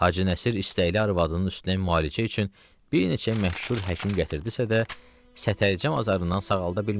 Hacı Nəsir istəkli arvadının üstünə müalicə üçün bir neçə məşhur həkim gətirdisə də, səteycəm azarından sağalda bilmədi.